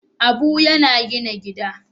Abu yana gina gida.